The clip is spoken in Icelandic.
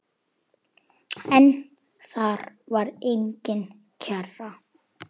En þar var engin kerra.